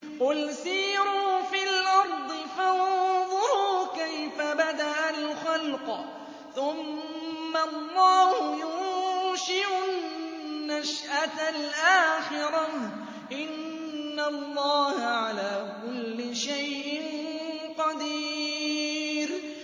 قُلْ سِيرُوا فِي الْأَرْضِ فَانظُرُوا كَيْفَ بَدَأَ الْخَلْقَ ۚ ثُمَّ اللَّهُ يُنشِئُ النَّشْأَةَ الْآخِرَةَ ۚ إِنَّ اللَّهَ عَلَىٰ كُلِّ شَيْءٍ قَدِيرٌ